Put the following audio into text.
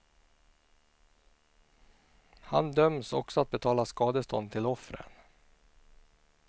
Han döms också att betala skadestånd till offren.